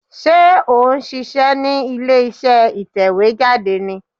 Sé ò n ṣíṣẹ́ ní ilé iṣẹ́ ìtẹ̀wé jáde ni